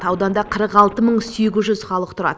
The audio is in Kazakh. ауданда қырық алты мың сегіз жүз халық тұрады